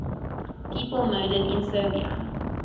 people murdered in serbia